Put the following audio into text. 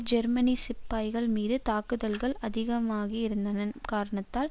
ஜெர்மனிய சிப்பாய்கள் மீது தாக்குதல்கள் அதிகமாகியிருதன காரணத்தால்